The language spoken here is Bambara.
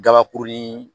Gabakuruni